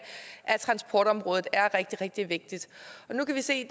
af transportområdet er rigtig rigtig vigtigt nu kan vi se